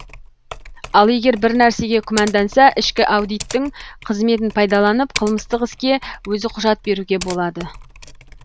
ал егер бір нәрсеге күмәнданса ішкі аудиттің қызметін пайдаланып қылмыстық іске өзі құжат беруге болады